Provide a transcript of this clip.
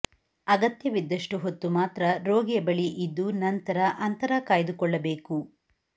ಅಗತ್ಯವಿದ್ದಷ್ಟು ಹೊತ್ತು ಮಾತ್ರ ರೋಗಿಯ ಬಳಿ ಇದ್ದು ನಂತರ ಅಂತರ ಕಾಯ್ದುಕೊಳ್ಳಬೇಕು